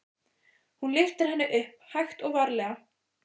Hún lyftir henni upp, hægt og varlega.